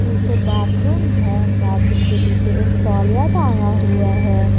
पीछे बाथरूम है बाथरूम के पीछे एक तौलिया टांगा हुआ है।